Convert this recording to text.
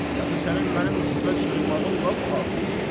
Dəxi sənin mənim üstümə çığırmağın lap artıqdır.